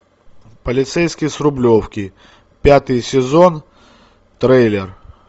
полицейский с рублевки пятый сезон трейлер